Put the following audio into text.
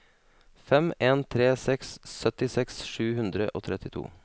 fem en tre seks syttiseks sju hundre og trettito